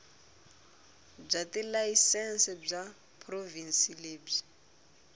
bya tilayisense bya provhinsi lebyi